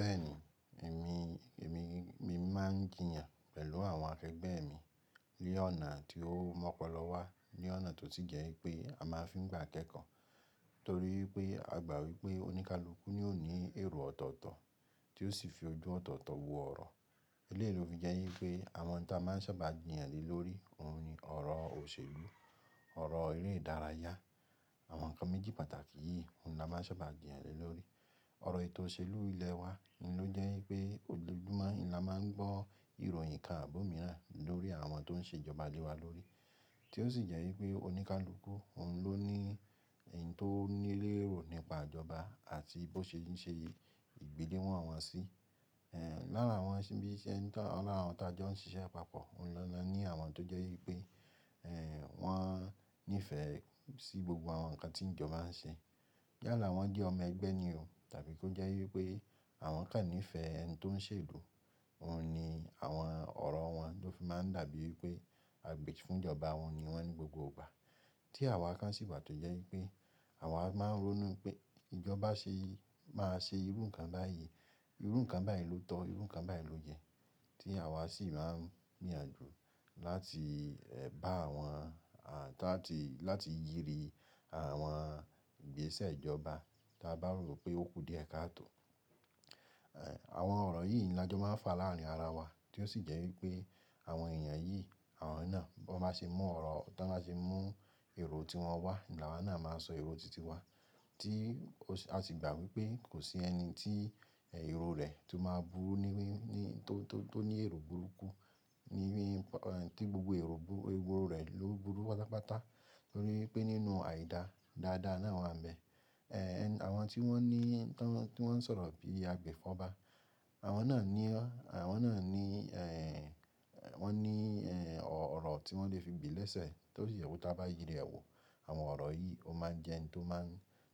Bẹ́ẹ̀ni, èmi, èmi, mi máa ń jiyàn pẹ̀lú àwọn akẹgbẹ́ mi ní ọ̀nà tí ó mọ́pọlọ wá, ní ọ̀nà tó si jẹ́ pé a máa fi ń gba kẹ́kọ̀ọ́. Nítorí pé a gbà wípé oníkálukú ni ó ní èrò ọ̀tọ̀ọ̀tọ̀ tí ó sì fi ojú ọ̀tọ̀ọ̀tọ̀ wo ọ̀rọ̀. Eléyìí ló fi jẹ́ wípé àwọn tí a máa ń sábà jiyàn ni lórí òun ni ọ̀rọ̀ òṣèlú, ọ̀rọ̀ eré ìdárayá, àwọn nǹkan méjì pàtàkì yìí ni a máa ń sábà jiyàn le lórí. Ọ̀rọ̀ ètò òṣèlú ilẹ̀ wa ni ó jẹ́ wípé ojoojumo hin ni a máa ń gbọ́ ìròyìn kán abi omìíràn lórí àwọn tó ń ṣe ìjọba lé wa lórí, tí ó sì jẹ́ wípé oníkálukú òun ló ní eni tó ní lérò nípa ìjọba àti bó ṣe ń ṣe ìgbéléwọ̀n wọn sí. Ehn, lára àwọn ibí iṣẹ́ n ta lara àwọn tí a jọ ń ṣiṣẹ́ papọ̀, òun lọ́na ní àwọn tó jẹ́ wípé, ehn, wọ́n nífẹ̀ẹ́ sí gbogbo àwọn nǹkan tí ìjọba ń ṣe. Yála wọ́n jẹ́ ọmọ ẹgbẹ́ ni o, tàbí kí ó jẹ́ wípé àwọn kan nífẹ̀ẹ́ ẹni tí ó ń ṣe ìlú, òun ni àwọn ọ̀rọ̀ wọn ló fi máa ń dàbí wípé agbèji fun ìjọba wọn ni wọ́n ní gbogbo ìgbà. Tí àwa kan sì wà tó jẹ́ wípé àwa máa ń ronú pé ìjọba ṣe yí máa ṣe irú nǹkan báyìí, irú nǹkan báyìí ló tọ́, irú nǹkan báyìí ló yẹ. Tí àwa sì máa ń rìn àjò láti, ehn, bá àwọn à tí láti yiri àwọn ìgbésẹ̀ ìjọba tí a bá rò pé ó kú díẹ̀ káàtò. Ehn, àwọn ọ̀rọ̀ yìí ni a jọ máa ń fa láàrin ara wa tí ó sì jẹ́ wípé àwọn èèyàn yìí, àwọn náà bó ba ṣe mú ọrọ̀ tán ba ṣe mú èrò tí wọ́n wá ni àwa náà máa sọ èrò titi wa tí ó sì a sì gbà wípé kò sí ẹni tí èrò rẹ̀ tó máa burú níbí ní tó, tó, tó ní èrò burúkú níbí tí gbogbo èrò burú èrò rẹ̀ ló burú pátápátá. Nítorí pé nínú àìda dáadáa náà wà ń bẹ. Ehn, àwọn tí wọ́n ní tán tí wọ́n ń sọ̀rọ̀ bí i agbèfọ̀ba, àwọn náà ní ó àwọn náà ní, ehn, wọ́n ní, ehn, ọ̀rọ̀ tí wọ́n lè fi gbe lẹ́sẹ̀ tó sì yẹ kó tá bá yiri ẹ̀ wò. Àwọn ọ̀rọ̀ yìí ó máa ń jẹ ẹni tó máa ń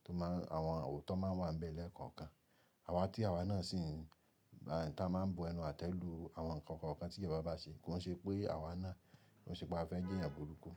tó máa àwọn òótọ́ máa ń wà ń bẹ lẹ́ẹ̀kọ̀ọ̀kan. Àwa tí àwa náà sì ń ta máa ń bu ẹnu àtẹ́ lu àwọn nǹkan kọ̀ọ̀kan tí ìjọba bá ṣe kó ṣe pé àwa náà kó ṣe pé a fẹ́ jẹ́ èèyàn burúkú.